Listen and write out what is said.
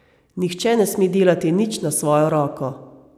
Nihče ne sme delati nič na svojo roko.